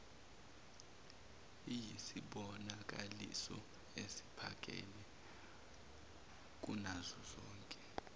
iyisibonakaliso esiphakeme kunazozonke